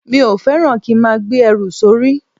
Mi ò fẹ́ràn kí n máa gbé ẹrù sórí